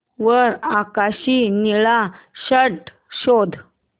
वर आकाशी निळा शर्ट शोध